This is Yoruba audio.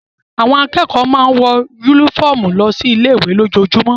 Àwọn akẹ́kọ̀ọ́ máa ń wọ yúnífọ̀mù lọ sí ilé ìwé lójoojúmọ́